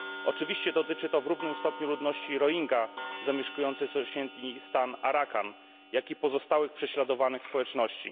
Oczywiście dotyczy to w równym stopniu ludności Rohingya, zamieszkującej sąsiedni stan Arakan, jak i pozostałych prześladowanych społeczności.